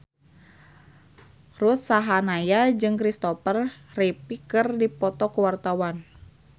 Ruth Sahanaya jeung Christopher Reeve keur dipoto ku wartawan